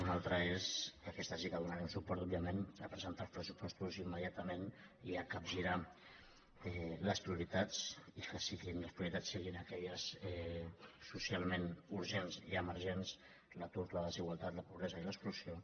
una altra és que a aquesta sí que hi donarem suport òbviament presen·tar els pressupostos immediatament i capgirar les pri·oritats i que les prioritats siguin aquelles socialment urgents i emergents l’atur la desigualtat la pobresa i l’exclusió